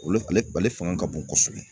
Olu ale ale faŋa ka bon kosɛbɛ.